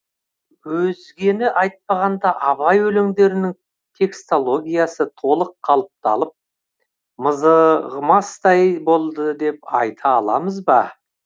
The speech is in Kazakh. өзгені айтпағанда абай өлеңдерінің текстологиясы толық қалыпталып мызығымастай болды деп айта аламыз ба